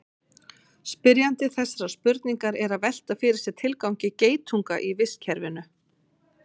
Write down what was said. spyrjandi þessarar spurningar er að velta fyrir sér tilgangi geitunga í vistkerfinu